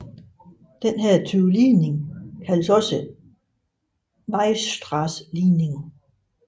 Denne type ligning kaldes en Weierstrass ligning